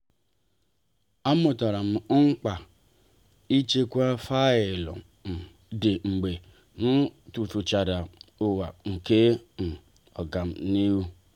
a mụtara m mkpa ịchekwa faịlụ um dị mgbe m tufuchara awa nke um agamnihu.